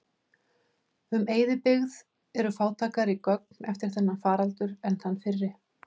Um eyðibyggð eru fátæklegri gögn eftir þennan faraldur en þann fyrri.